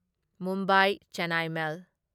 Mumbai Chennai ꯃꯦꯜ